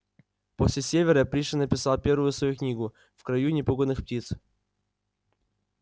после севера пришвин написал первую свою книгу в краю непуганых птиц